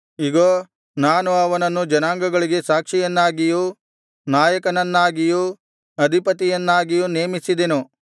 ಇಗೋ ನಾನು ಅವನನ್ನು ಜನಾಂಗಗಳಿಗೆ ಸಾಕ್ಷಿಯನ್ನಾಗಿಯೂ ನಾಯಕನನ್ನಾಗಿಯೂ ಅಧಿಪತಿಯನ್ನಾಗಿಯೂ ನೇಮಿಸಿದೆನು